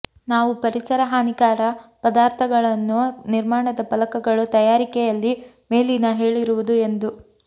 ನಾವು ಪರಿಸರ ಹಾನಿಕರ ಪದಾರ್ಥಗಳನ್ನು ನಿರ್ಮಾಣದ ಫಲಕಗಳು ತಯಾರಿಕೆಯಲ್ಲಿ ಮೇಲಿನ ಹೇಳಿರುವುದು ಎಂದು